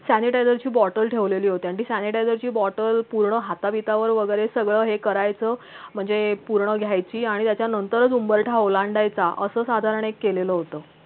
sanitizer ची bottle ठेवलेली होती आणि sanitizer ची bottle पूर्ण हाताबीतावर वैगरे सगळं हे करायचं म्हणजे पूर्ण लिहायची आणि त्याच्यानंतरच उंबरठा ओलांडायचा असं साधारण एक केलेलं होतं